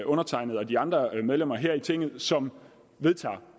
undertegnede og de andre medlemmer her i tinget som vedtager